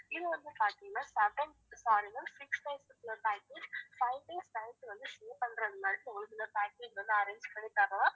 இது வந்து பாத்தீங்கன்னா seven sorry ma'am six days க்கு உள்ள package, five days night வந்து stay பண்றது மாதிரி ஒரு சில package வந்து arrange பண்ணி தரலாம்